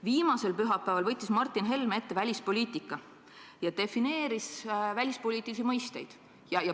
Viimasel pühapäeval võttis Martin Helme ette välispoliitika ja defineeris välispoliitilisi mõisteid.